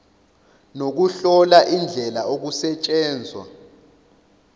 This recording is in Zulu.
nokuhlola indlela okusetshenzwa